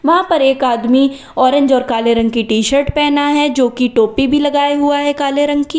वहां पर एक आदमी ऑरेंज और काले रंग की टी-शर्ट पहना है जो कि टोपी भी लगाए हुआ है काले रंग की।